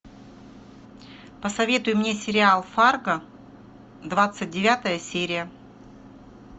посоветуй мне сериал фарго двадцать девятая серия